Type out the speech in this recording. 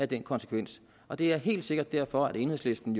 den konsekvens og det er helt sikkert derfor at enhedslisten